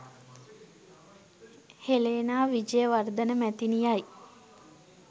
Helena Wijayawardena මැතිණියයි.